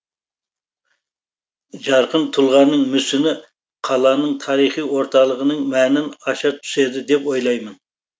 жарқын тұлғаның мүсіні қаланың тарихи орталығының мәнін аша түседі деп ойлаймын